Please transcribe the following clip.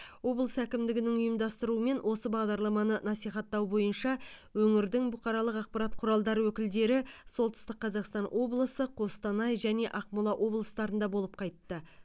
облыс әкімдігінің ұйымдастыруымен осы бағдарламаны насихаттау бойынша өңірдің бұқаралық ақпарат құралдары өкілдері солтүстік қазақстан облысы қостанай және ақмола облыстарында болып қайтты